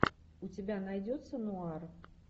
у тебя найдется нуар